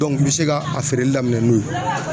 i bi se ka a feereli daminɛ n'o ye.